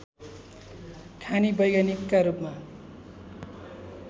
खानी वैज्ञानिकका रूपमा